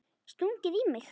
Stungið í mig?